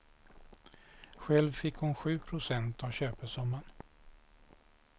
Själv fick hon sju procent av köpesumman.